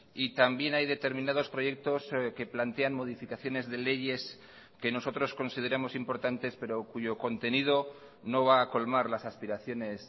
y también hay determinados proyectos que plantean modificaciones de leyes que nosotros consideramos importantes pero cuyo contenido no va a colmar las aspiraciones